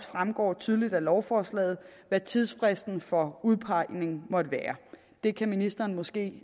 fremgår tydeligt af lovforslaget hvad tidsfristen for udpegning måtte være det kan ministeren måske